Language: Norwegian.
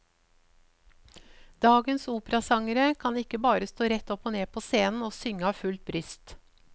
Dagens operasangere kan ikke bare stå rett opp og ned på scenen og synge av fullt bryst.